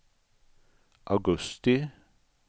augusti